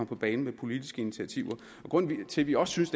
på banen med politiske initiativer grunden til at vi også synes